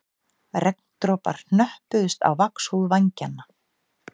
Regndropar hnöppuðust á vaxhúð vængjanna